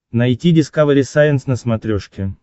найти дискавери сайенс на смотрешке